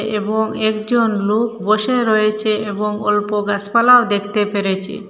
এবং একজন লোক বসে রয়েচে এবং অল্প গাছপালাও দেখতে পেরেচি।